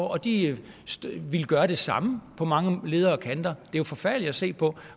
og at de ville gøre det samme på mange leder og kanter det er jo forfærdeligt at se på